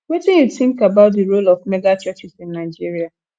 wetin you think about di role of megachurches in nigeria